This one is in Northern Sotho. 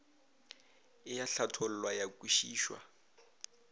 e a hlathollwa ya kwešišwa